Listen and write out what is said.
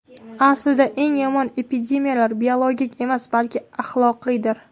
Aslida, eng yomon epidemiyalar biologik emas, balki axloqiydir.